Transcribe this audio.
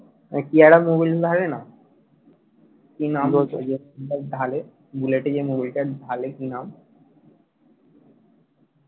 কি একটা মবিল থাকে না কি নাম বলত যেটা ঢালে বুলেটে যে মবিলটা ঢালে কি নাম